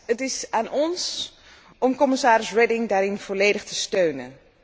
Het is aan ons om commissaris Reding daarin volledig te steunen.